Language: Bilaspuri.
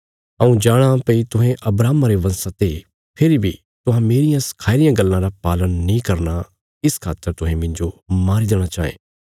हऊँ जाणाँ भई तुहें अब्राहम रे बंशा ते फेरी बी तुहां मेरियां सखाई रियां गल्लां रा पालन नीं करना इस खातर तुहें मिन्जो मारी देणा चांये